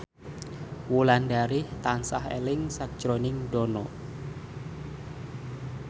Wulandari tansah eling sakjroning Dono